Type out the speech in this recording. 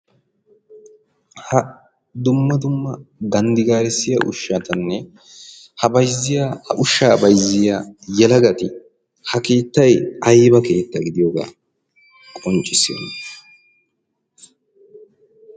Ha dumma dumma ganddi gaarissiya ushshatanne ha ushsha bayziya yelagati ha keetay aybba keeta gidiyooga qonccissiyoona?